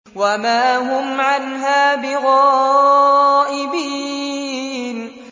وَمَا هُمْ عَنْهَا بِغَائِبِينَ